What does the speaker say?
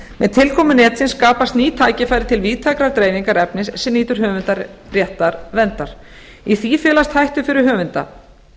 með tilkomu netsins skapast ný tækifæri til víðtækrar dreifingar efnis sem nýtur höfundaréttarverndar í því felast hættur fyrir höfunda